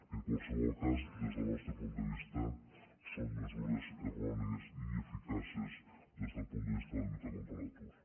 en qualsevol cas des del nostre punt de vista són mesures errònies i ineficaces des del punt de vista de la lluita contra l’atur